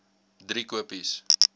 driekopies